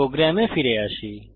প্রোগ্রামে ফিরে আসি